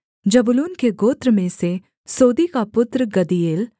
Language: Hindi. जबूलून के गोत्र में से सोदी का पुत्र गद्दीएल